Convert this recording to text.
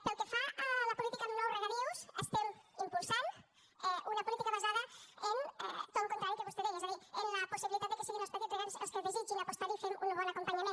pel que fa a la política amb nous regadius estem impulsant una política basada en tot el contrari del que vostè deia és a dir en la possibilitat que siguin els petits regants els que desitgin apostar hi fent un bon acompanyament